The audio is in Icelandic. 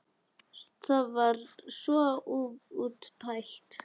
Það var svo útpælt!